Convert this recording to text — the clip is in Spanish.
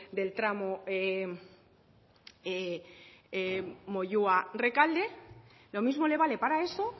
del tramo moyua rekalde lo mismo le vale para eso